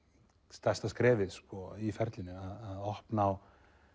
stærsta skrefið í ferlinu að opna á